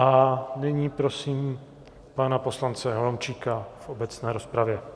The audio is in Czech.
A nyní prosím pana poslance Holomčíka v obecné rozpravě.